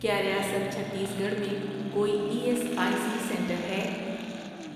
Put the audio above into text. کیا ریاست چھتیس گڑھ میں کوئی E S I C centre ہے؟